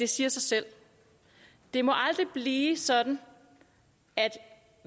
siger sig selv det må aldrig blive sådan at